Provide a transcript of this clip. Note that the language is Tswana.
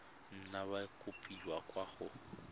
nna ya kopiwa kwa go